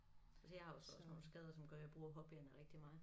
Altså jeg har jo så også nogle skader som gør jeg bruger hobbyerne rigtig meget